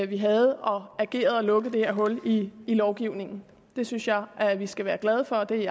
vi havde og har ageret og lukket det her hul i lovgivningen det synes jeg at vi skal være glade for det